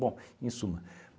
Bom, em suma.